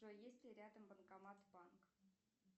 джой есть ли рядом банкомат банк